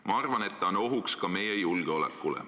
Ma arvan, et ta on ohuks ka meie julgeolekule.